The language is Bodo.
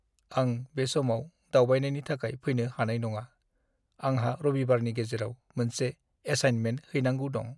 आं बे समाव दावबायनायनि थाखाय फैनो हानाय नङा। आंहा रबिबारनि गेजेराव मोनसे एसाइनमेन्ट हैनांगौ दं।